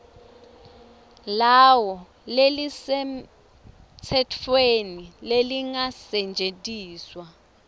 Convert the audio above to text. lawo lelisemtsetfweni lelingasetjentiswa